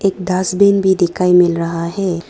Dustbin भी दिखाई मिल रहा है।